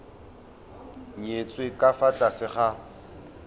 nyetswe ka fa tlase ga